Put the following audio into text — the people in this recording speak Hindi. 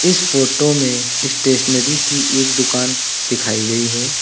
इस फोटो में स्टेशनरी की एक दुकान दिखाई गई है।